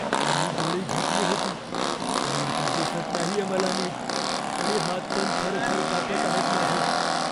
मी गोळी घेतली होती पण आता दिसत नाहीये मला नीट आणि हात पण थरथर कापत आहेत माझे.